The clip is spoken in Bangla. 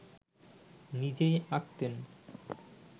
নিজেই আঁকতেন